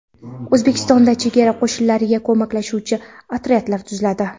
O‘zbekistonda chegara qo‘shinlariga ko‘maklashuvchi otryadlar tuziladi.